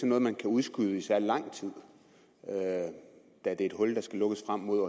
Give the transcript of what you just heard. noget man kan udskyde i særlig lang tid da det er et hul der skal lukkes frem mod